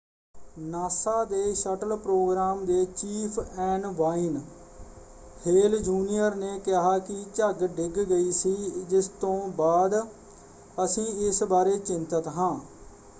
NASA ਦੇ shuttle programme ਦੇ chief N Wayne Hale Junior ਨੇ ਕਿਹਾ ਕਿ ਝੱਗ ਡਿੱਗ ਗਈ ਸੀ ਜਿਸ ਤੋਂ ਬਾਅਦ ਅਸੀਂ ਇਸ ਬਾਰੇ ਚਿੰਤਤ ਹਾਂ।